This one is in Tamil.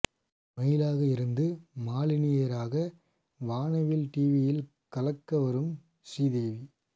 மயிலாக இருந்து மாலினி ஐயராக வானவில் டிவியில் கலக்க வரும் ஸ்ரீதேவி